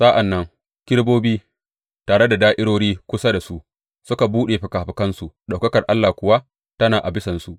Sa’an nan kerubobi, tare da da’irori kusa da su, suka buɗe fikafikansu, ɗaukakar Allah kuwa tana a bisansu.